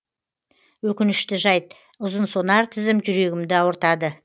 өкінішті жайт ұзынсонар тізім жүрегімді ауыртады